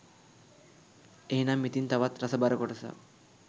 එහෙනම් ඉතින් තවත් රසබර කොටසක්